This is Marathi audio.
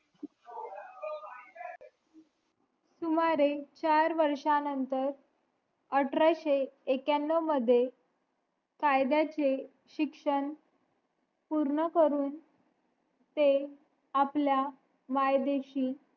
सुमारे चार वर्ष नतंर अठराशे एक्यनव मध्ये कायद्यांचे शिक्षण पूर्ण करून ते आपल्या मायदेशी